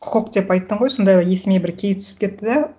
құқық деп айттың ғой сонда есіме бір кейс түсіп кетті де